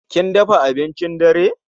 Kin dafa abincin dare?